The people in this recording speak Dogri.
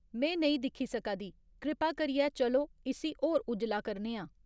में नेईं दिक्खी सका दी, कृपा करियै चलो इस्सी होर उज्जला करने आं